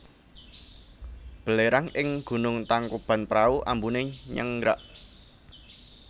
Belerang ing Gunung Tangkuban Prau ambune nyenggrak